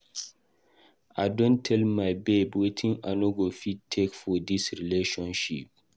I don tell my babe wetin I no go fit take for dis relationship.